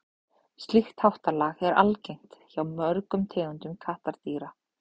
slíkt háttalag er algengt hjá mörgum tegundum kattardýra